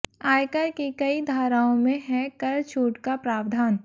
आयकर की कई धाराओं में है कर छूट का प्रावधान